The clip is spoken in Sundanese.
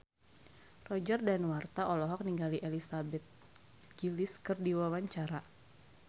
Roger Danuarta olohok ningali Elizabeth Gillies keur diwawancara